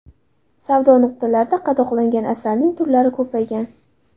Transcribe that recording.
Savdo nuqtalarida qadoqlangan asalning turlari ko‘paygan.